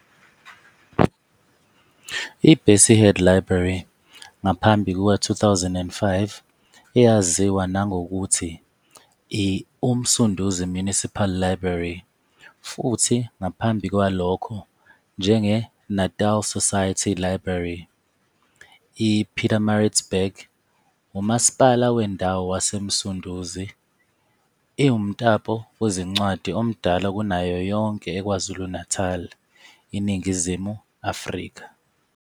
I-Bessie Head Library, ngaphambi kuka-2005 eyaziwa nangokuthi i-UMsunduzi Municipal Library, futhi ngaphambi kwalokho njenge-Natal Society Library, IPietermaritzburg, UMasipala Wendawo waseMsunduzi, iwumtapo wezincwadi omdala kunayo yonke eKwaZulu-Natal, INingizimu Afrika.